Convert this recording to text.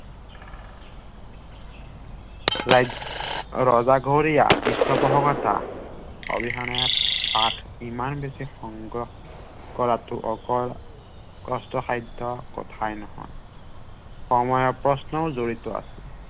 ৰজাঘৰীয়া পৃষ্ঠপোষকতা অবিহনে ইমান বেছি সংগ্ৰহ কৰাটো অকল কষ্টসাধ্য কথাই নহয়